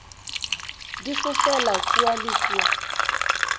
di fofela kua le kua